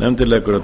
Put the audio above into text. nefndin leggur